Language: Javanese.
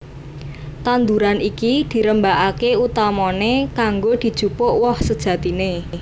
Tanduran iki dirembakaké utamané kanggo dijupuk woh sejatiné